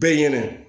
Be ɲɛnɛ